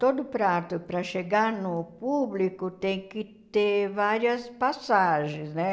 Todo prato, para chegar no público, tem que ter várias passagens, né?